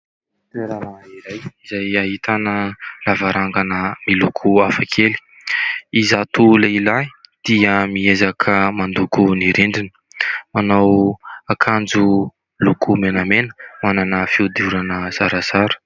Toerana iray izay ahitana lavarangana miloko hafa kely. Izato lehilahy dia miezaka mandoko ny rindrina, manao akanjo loko menamena, manana fihodirana zarazara.